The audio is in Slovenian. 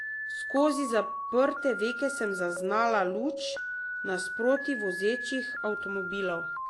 Skozi zaprte veke sem zaznala luči nasproti vozečih avtomobilov.